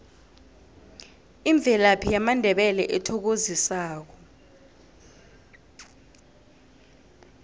imvelaphi yamandebele ethokozisako